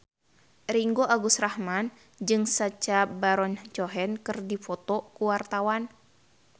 Ringgo Agus Rahman jeung Sacha Baron Cohen keur dipoto ku wartawan